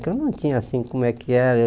Que eu não tinha assim como é que era.